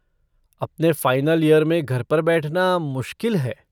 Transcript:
अपने final year में घर पर बैठना मुश्किल है।